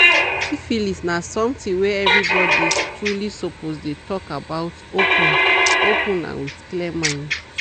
siphilis na something were every body truely suppose dey talk about open-open and with clear mind